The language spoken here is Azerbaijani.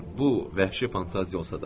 Bu vəhşi fantaziya olsa da.